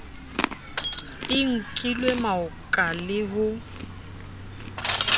i nkilwe maoka le ho